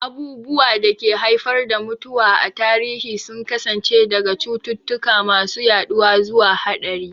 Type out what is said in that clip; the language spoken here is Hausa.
Abubuwan da ke haifar da mutuwa a tarihi sun kasance daga cututtuka masu yaduwa zuwa haɗari.